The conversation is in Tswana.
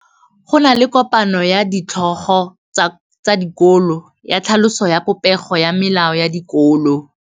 Go na le kopanô ya ditlhogo tsa dikolo ya tlhaloso ya popêgô ya melao ya dikolo.